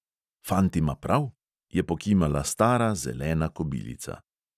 "Fant ima prav, " je pokimala stara zelena kobilica.